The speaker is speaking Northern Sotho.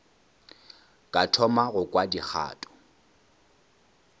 ka thoma go kwa dikgato